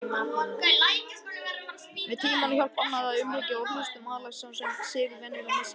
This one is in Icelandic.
Með tímanum, hjálp annarra, umhyggju og hlustun aðlagast sá sem syrgir venjulega missinum.